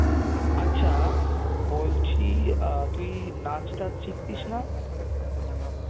আচ্ছা বলছি তুই নাচ টাচ শিখতিস না?